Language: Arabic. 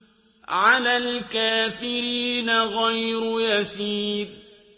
عَلَى الْكَافِرِينَ غَيْرُ يَسِيرٍ